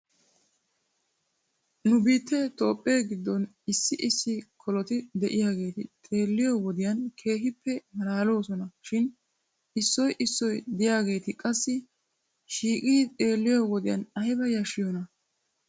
Nu biittee Toophphee giddon issi issi koloti de'iyaageeti xeelliyo wodiyan keehippe malaaloosona shin issoy issoy de'iyaageeti qassi shiiqidi xeelliyo wodiyan ayba yashshiyoonaa?